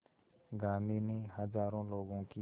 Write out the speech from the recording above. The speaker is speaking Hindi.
गांधी ने हज़ारों लोगों की